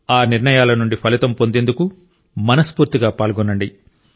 ఆ నిర్ణయాల నుండి ఫలితం పొందేందుకు మనస్ఫూర్తిగా పాల్గొనండి